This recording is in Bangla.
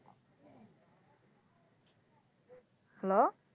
হ্যালো